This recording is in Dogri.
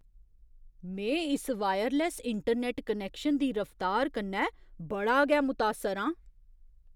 में इस वायरलैस्स इंटरनैट्ट कनैक्शन दी रफ्तार कन्नै बड़ा गै मुतासर आं।